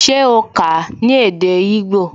Se o kà á ní èdè igbó?